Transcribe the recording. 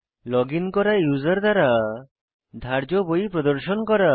login করা user দ্বারা ধার্য বই প্রদর্শন করা